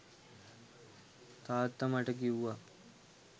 තාත්තා මට කිව්වා